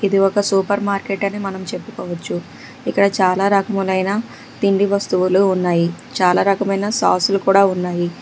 ఇది ఒక supermarket అని మనం చెప్పుకోవచ్చు ఇక్కడ చాలా రాకములైన తిండి వస్తువులు ఉన్నాయి చాలా రకమైన సాసులు కూడా ఉన్నాయి.